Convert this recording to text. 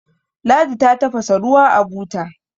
ladi ta tafasa ruwa a buta